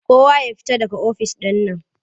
Kowa ya fita daga ofis ɗin nan!